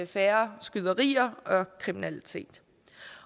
færre skyderier og kriminalitet